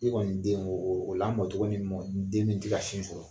E kɔni den o o lamɔ tɔgɔ nin mɔ den min tɛ ka sin sɔrɔ